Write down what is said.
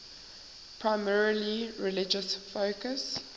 primarily religious focus